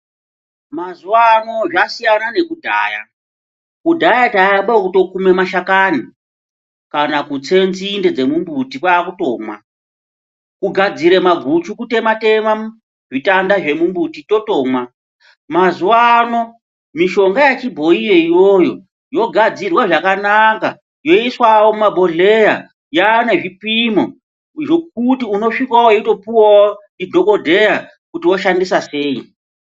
Mazuva ano zvasiyana nekudhaya kudhaya taiamba kukuma mashakani kana kutsa nzinde dzemumbuti kwaakutomwa kugadzira maguchi kutematema zvitanda zvemumumbuti yotomwa mazuva ano mishonga yechiboyi iyoyo yogadxirwa zvakanaka yoiswawo muma. bhohleya yaanezvipimo zvekuti unosvikopuwawo ndidhokodheya kuti inosvika weishandisa sei.